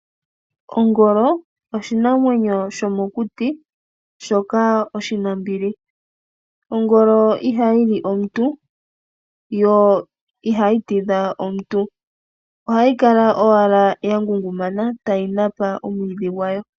Ongolo oshinamwenyo shomokuti shoka oshinambili, ongolo ihayili omuntu yo ihayi tidha omuntu. Ohayi kala owala ya ngungumana tayi Napa omwiidhi gwayo.